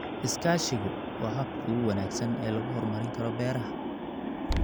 Iskaashigu waa habka ugu wanaagsan ee lagu horumarin karo beeraha.